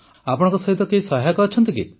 ଆପଣଙ୍କ ସହିତ କେହି ସହାୟକ ଅଛନ୍ତି କି